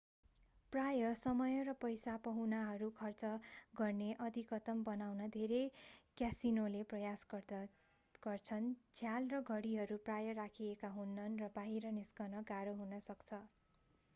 प्रायः समय र पैसा पाहुनाहरू खर्च गर्ने अधिकतम बनाउन धेरै क्यासिनोले प्रयास गर्छन्। झ्याल र घडीहरू प्राय राखिएका हुनन्‌ र बाहिर निस्कन गाह्रो हुन सक्छ।